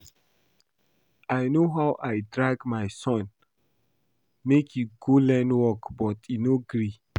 I know how I drag my son make he go learn work but he no gree